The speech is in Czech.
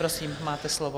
Prosím, máte slovo.